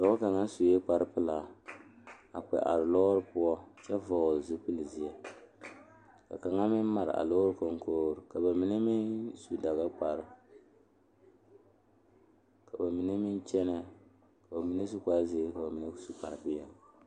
Dɔɔba ba ba zeŋ leɛ la ba puori ko zie ba naŋ daare bayi zeŋ ta la teŋa bata vɔgle la sapele naŋ waa peɛle bonyene vɔgle sapele naŋ e sɔglɔ bamine su kpare pele.